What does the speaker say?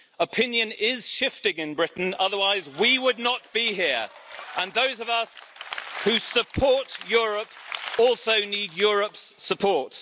Opinion is shifting in Britain, otherwise we would not be here, and those of us who support Europe also need Europe's support.